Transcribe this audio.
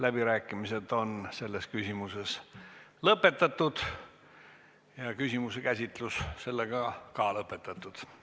Läbirääkimised selles küsimuses on lõppenud ja kogu teema käsitlus on sellega ka lõppenud.